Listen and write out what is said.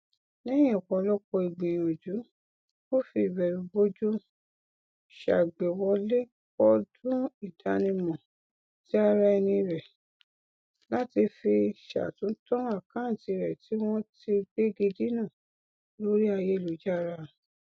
lẹhìn ọpọlọpọ ìgbìyànjú ó fi ìbẹrùbojo ṣàgbéwọlé kọọdùìdánimọtiaraẹni rẹ láti fi ṣàtúntàn àkántì rẹ tì wọn ti gbègidínà lórí ayélujàrá